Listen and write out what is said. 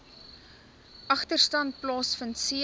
agterstand plaasvind c